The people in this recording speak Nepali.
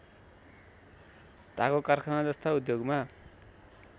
घागो कारखानाजस्ता उद्योगमा